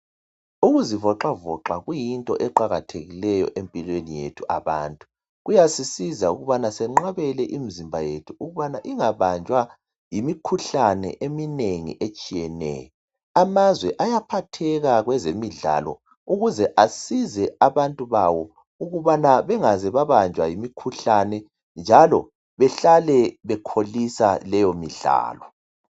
Ukuzivoxavoxa kuyinto eqakathekileyo empilweni yethu abantu kuyasisiza ukubana senqabele imizimba yethu ukubana ingabanjwa yimikhuhlane eminengi etshiyeneyo . Amazwe ayaphatheka kwezemidlalo ukuze asize abantu babo ukuze bangabanjwa yimikhuhlane njalo behlale bekholisa leyo midlalo.